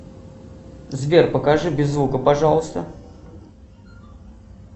сбер покажи без звука пожалуйста